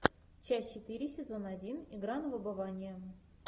часть четыре сезон один игра на выбывание